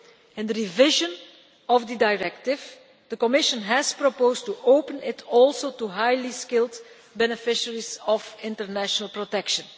In the revision of the directive the Commission has also proposed to open it to highly skilled beneficiaries of international protection.